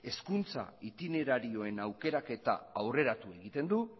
hezkuntza itinerarioen aukeraketa aurreratu egiten du